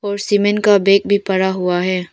और सीमेंट का बैग भी पड़ा हुआ है।